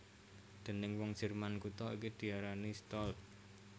Déning wong Jerman kutha iki diarani Stolp